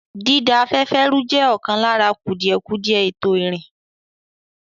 Dída afẹ́fẹ́ rú jẹ́ ọ̀kan lára kùdìẹ̀kudiẹ ètò ìrìn.